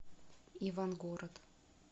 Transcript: ивангород